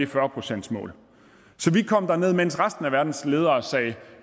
fyrre procentsmålet så mens resten af verdens ledere sagde at